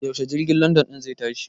Yaushe jirgin London ɗin zai tashi?